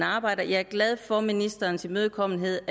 arbejdes jeg er glad for ministerens imødekommenhed